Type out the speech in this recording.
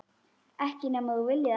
Ekki nema þú viljir það.